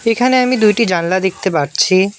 এইখানে আমি দুইটি জানলা দেখতে পারছি।